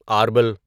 آربل